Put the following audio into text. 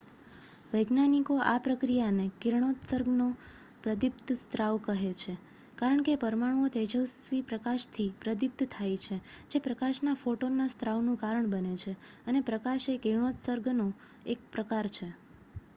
"વૈજ્ઞાનિકો આ પ્રકિયાને "કિરણોત્સર્ગનો પ્રદીપ્ત સ્ત્રાવ" કહે છે કારણ કે પરમાણુઓ તેજસ્વી પ્રકાશથી પ્રદીપ્ત થાય છે જે પ્રકાશના ફોટોનનાં સ્ત્રાવનું કારણ બને છે અને પ્રકાશ એ કિરણોત્સર્ગનો એક પ્રકાર છે.